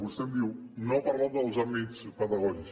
vostè em diu no ha parlat dels àmbits pedagògics